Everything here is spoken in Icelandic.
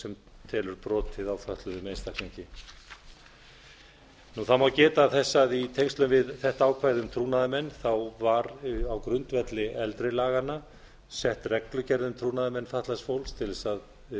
sem telur brotið á fötluðum einstaklingi það má geta þess að í tengslum við þetta ákvæði um trúnaðarmenn var á grundvelli eldri laga sett reglugerð um trúnaðarmenn fatlaðs fólks til þess að